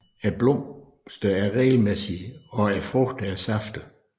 Blomsterne er regelmæssige og frugterne er saftige